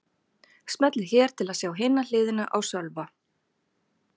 Smellið hér til að sjá hina hliðina á Sölva